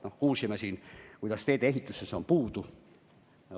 Me kuulsime siin, kuidas teedeehitus on hädas.